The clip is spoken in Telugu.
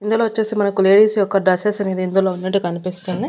ఇందులో వచ్చేసి మనకు లేడీస్ యొక్క డ్రెస్సెస్ అనేవి ఇందులో ఉన్నట్టు కనిపిస్తున్నాయ్.